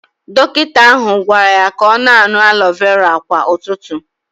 Dọkịta ahụ gwara ya ka ọ na-aṅụ aloe vera kwa ụtụtụ